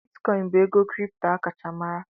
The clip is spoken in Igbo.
Bitikoin bụ ego kripto a kacha mara.